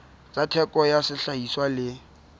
tsa theko ya sehlahiswa le